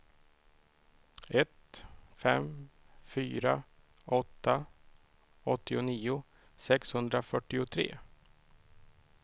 ett fem fyra åtta åttionio sexhundrafyrtiotre